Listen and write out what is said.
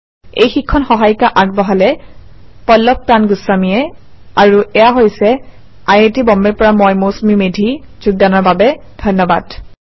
এই শিক্ষণ সহায়িকা আগবঢ়ালে পল্লভ প্ৰান গুস্বামীয়ে আই আই টী বম্বে ৰ পৰা মই মৌচুমী মেধী এতিয়া আপুনাৰ পৰা বিদায় লৈছো যোগদানৰ বাবে ধন্যবাদ